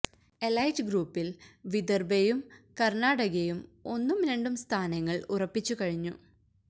elite ഗ്രൂപ്പിൽ വിദർഭയും കർണാടകയും ഒന്നും രണ്ടും സ്ഥാനങ്ങൾ ഉറപ്പിച്ചു കഴിഞ്ഞു